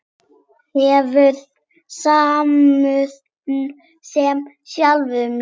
Hefur samúð með sjálfum sér.